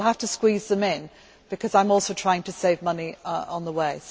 We will have to squeeze them in, because I am also trying to save money on the way.